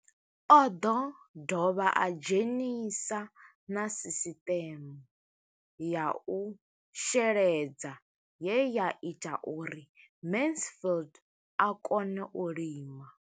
O ḓo dovha a dzhenisa na sisiṱeme ya u sheledza ye ya ita uri Mansfied a kone u lima.